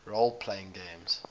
role playing games